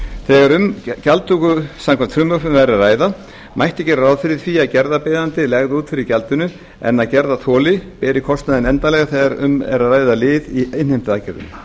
þegar um gjaldtöku samkvæmt frumvarpinu væri að ræða mætti gera ráð fyrir því að gerðarbeiðandi legði út fyrir gjaldinu en að gerðarþoli beri kostnaðinn endanlega þegar um er að ræða lið í innheimtuaðgerðum